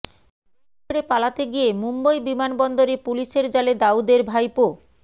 দেশ ছেড়ে পালাতে গিয়ে মুম্বই বিমানবন্দরে পুলিসের জালে দাউদের ভাইপো